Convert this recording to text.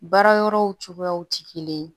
Baara yɔrɔw cogoyaw tɛ kelen ye